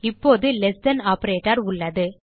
இப்போது less than operator உள்ளது